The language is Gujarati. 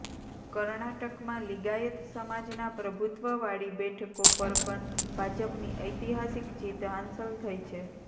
કર્ણાટકમાં લીગાયત સમાજના પ્રભુત્વવાળી બેઠકો પર પણ ભાજપની ઐતિહાસિક જીત હાંસલ થઈ છે